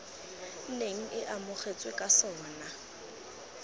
neng e amogetswe ka sona